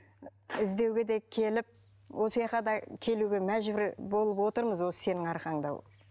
іздеуге де келіп да келуге мәжбүр болып отырмыз осы сенің арқаңда